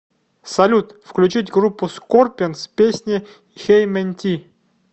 салют включить группу скорпионс песня хеймэнти